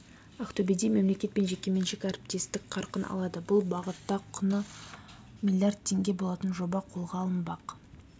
ақтөбеде мемлекет пен жекеменшік әріптестік қарқын алады бұл бағытта құны млрд теңге болатын жоба қолға алынбақ